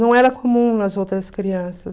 Não era comum nas outras crianças.